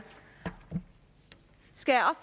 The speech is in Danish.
skal